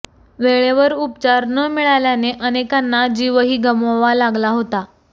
वेळेवर उपचार न मिळाल्याने अनेकांना जीवही गमवावा लागला होता